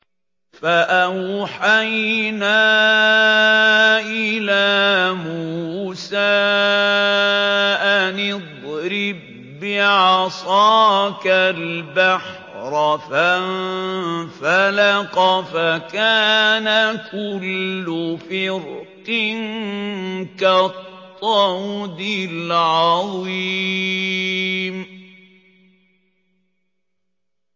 فَأَوْحَيْنَا إِلَىٰ مُوسَىٰ أَنِ اضْرِب بِّعَصَاكَ الْبَحْرَ ۖ فَانفَلَقَ فَكَانَ كُلُّ فِرْقٍ كَالطَّوْدِ الْعَظِيمِ